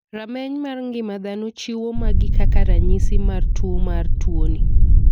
Rameny mar ng'ima dhano chiwo magi kaka ranyisi mar tuo mar tuo ni.